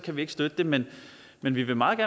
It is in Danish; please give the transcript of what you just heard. vi ikke støtte det men men vi vil meget